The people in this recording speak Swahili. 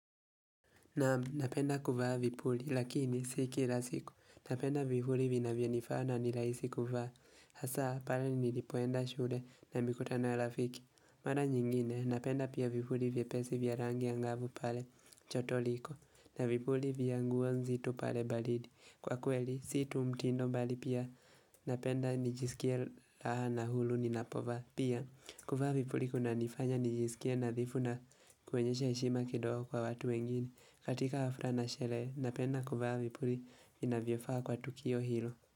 Naam napenda kuvaa vipuli lakini si kila siku, napenda vipuli vinavyonifaa na nirahisi kuvaa hasaa pale nilipoenda shule na mikutano ya rafiki. Mara nyingine napenda pia vipuli vyepesi vya rangi angavu pale joto liko na vipuli vya nguo nzito pale baridi. Kwa kweli si tu mtindo bali pia napenda nijisikea raha na huru ninapovaa. Pia kuvaa vipuli kunanifanya nijisikie nadhifu na kuonyesha heshima kidogo kwa watu wengine. Katika hafla na sherehe, napenda kuvaa vipuli vinavyofaa kwa tukio hilo.